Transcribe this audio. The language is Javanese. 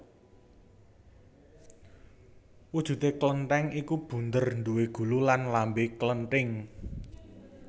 Wujudé klenthing iku bunder duwé gulu lan lambé klenthing